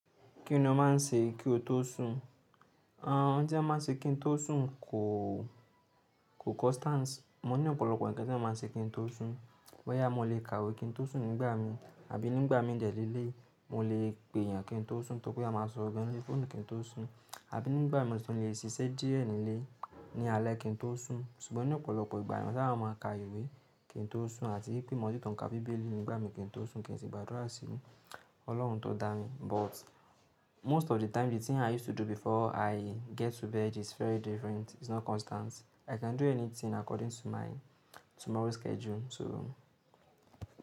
Kí ni o máa ń ṣe kí o tó sùn? Àwọn ohun tí a máa ń ṣe kí n tó sùn kò, kò constant. Mo ní ọ̀pọ̀lọpọ̀ ǹnkan tí èmi máa ń ṣe kí n tó sùn. Bóyà mo lè kàwé kí n tó sùn nígbà mi, àbí nígbà mi ń dẹ̀ léléyi, mo lè pè èèyàn kí n tó sùn, tọ pé a máa sọ̀rọ̀ gan lórí fọ́ọ̀nù kí n tó sùn, àbí nígbà mi tí mo sì tún lè ṣiṣẹ́ díẹ̀ nínú ilé ni alẹ́ kí n tó sùn. Ṣùgbọ́n ní ọ̀pọ̀lọpọ̀ ìgbà nígbà mo sábà máa ka ìwé kí n tó sùn àti wípé màá sì tún ká bíbélì nígbà mi kí n tó sùn kí n ṣì gbàdúrà sí Ọlọ́run tó dá mi. But most of the time the thing i used to do before i get to bed is very different, it's not constant. I can do anything according to my tomorrow's schedule so.